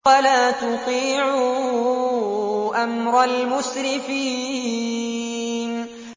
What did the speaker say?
وَلَا تُطِيعُوا أَمْرَ الْمُسْرِفِينَ